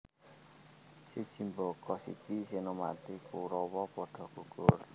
Siji mbaka siji senopati Kurawa padha gugur